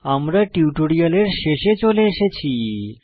আমরা টিউটোরিয়ালের শেষে চলে এসেছি